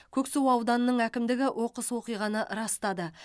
көксу ауданының әкімдігі оқыс оқиғаны растады